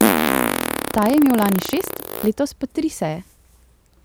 Ta je imel lani šest, letos pa tri seje.